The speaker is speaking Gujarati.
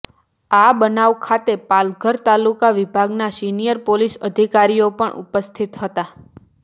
આ બનાવ વખતે પાલઘર તાલુકા વિભાગના સિનિયર પોલીસ અધિકારીઓ પણ ઉપસ્થિત હતા